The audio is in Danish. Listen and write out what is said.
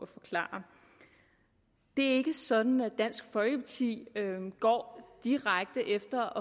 forklare det er ikke sådan at dansk folkeparti går direkte efter